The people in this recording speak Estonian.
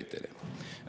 varuosade säilimise.